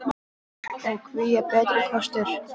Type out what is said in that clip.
Og hví er það betri kostur?